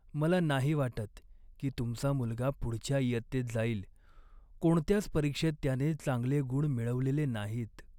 मला नाही वाटत की तुमचा मुलगा पुढच्या इयत्तेत जाईल. कोणत्याच परीक्षेत त्याने चांगले गुण मिळवलेले नाहीत.